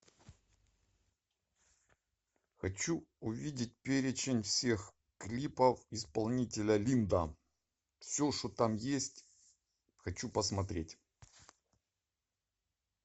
хочу увидеть перечень всех клипов исполнителя линда все что там есть хочу посмотреть